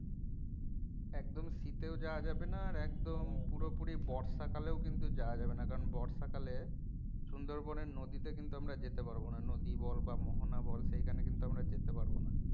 একদম শীতেও যাওয়া যাবে না আর একদম হ্যাঁ পুরোপুরি বর্ষাকালেও কিন্তু যাওয়া যাবে না কারন বর্ষাকালে সুন্দরবন এর নদীতে কিন্তু আমরা যেতে পারবো না নদী বল বা মোহনা বল সেখানে কিন্তু আমরা যেতে পারবো না